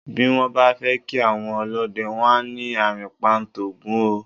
Bí wọ́n bá fẹ́ kí àwọn ọlọ́dẹ, wọ́n á ní "àrìnpa ń t'Ògún o".